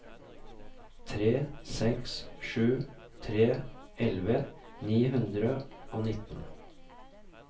tre seks sju tre elleve ni hundre og nittien